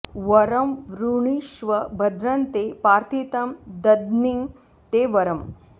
वरं वृणीष्व भद्रं ते प्रार्थितं दद्मि ते वरम्